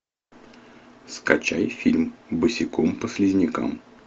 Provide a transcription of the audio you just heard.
скачай фильм босиком по слизнякам